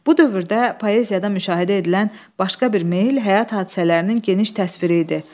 Bu dövrdə poeziyada müşahidə edilən başqa bir meyl həyat hadisələrinin geniş təsviri idi.